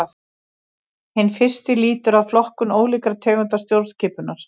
Hinn fyrsti lýtur að flokkun ólíkra tegunda stjórnskipunar.